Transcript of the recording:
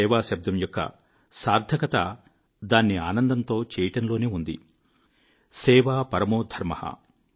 సేవాశబ్దము యొక్క సార్థకత దాన్ని ఆనందంతో చేయడం లోనే ఉంది సేవా పరమో ధర్మః